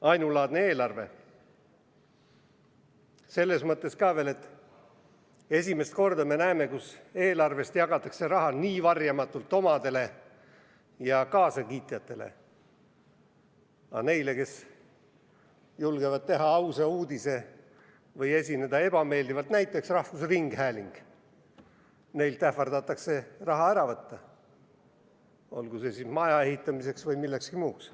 Ainulaadne eelarve on see selles mõttes ka veel, et esimest korda me näeme, kuidas eelarvest jagatakse nii varjamatult raha omadele ja kaasakiitjatele, aga neilt, kes julgevad teha ausa uudise või esineda ebameeldivalt, näiteks rahvusringhääling, ähvardatakse raha ära võtta, olgu see mõeldud siis maja ehitamiseks või millekski muuks.